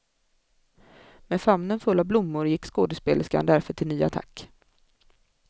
Med famnen full av blommor gick skådespelerskan därför till ny attack.